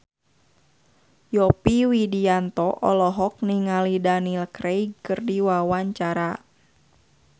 Yovie Widianto olohok ningali Daniel Craig keur diwawancara